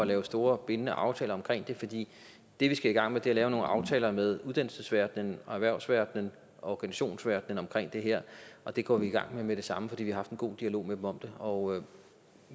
lave store bindende aftaler om det fordi det vi skal i gang med er at lave nogle aftaler med uddannelsesverdenen erhvervsverdenen og organisationsverdenen om det her og det går vi i gang med med det samme fordi vi har haft en god dialog med dem om det og